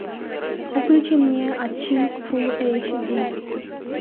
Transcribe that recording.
включи мне отчим фул эйч ди